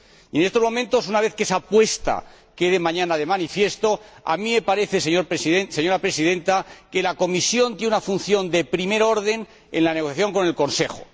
En estos momentos, una vez que esa apuesta quede mañana de manifiesto, me parece, señora Presidenta, que la Comisión tiene una función de primer orden en la negociación con el Consejo.